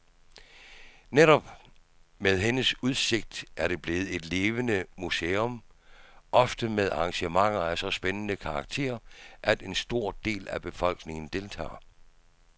Netop med hendes indsigt er det blevet et levende museum, ofte med arrangementer af så spændende karakter, at en stor del af befolkningen deltager.